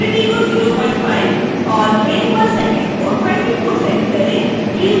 quality को 05 और frame per second को 24 सेट करें